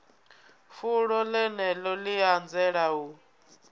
fulo ḽeneḽo ḽi anzela u